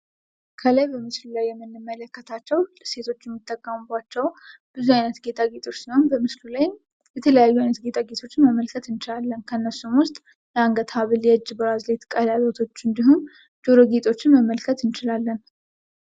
ከላይ በምስሉ ላይ የምንሐለከታቸው ሴቶች የሚጠቀሙባቸው ብዙ አይነት ጌጣጌጦች ነው። በምስሉ ላይም የተለያዩ አይነት ጌጣጌጦችን መመልከት እንችላለን ከእነርሱም ውስጥ የአንገት ሀብል፣ የእጅ ብራዝሌት፣ ቀለበቶች እንዲሁም ጆሮ ጌጦችን መመልከት እንችላለን።